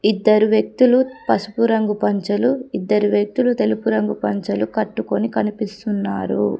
ఇద్దరు వ్యక్తులు పసుపు రంగు పంచలు ఇద్దరు వ్యక్తులు తెలుపు రంగు పంచలు కట్టుకొని కనిపిస్తున్నారు.